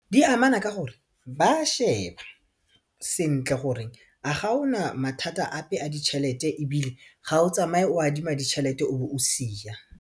Di amana ka gore ba a sheba sentle gore a gaona mathata ape a ditšhelete ebile ga o tsamaye o adima ditšhelete o be o siya.